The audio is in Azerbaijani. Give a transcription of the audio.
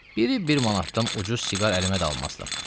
Biri bir manatdan ucuz siqar əlimə dalmazdı.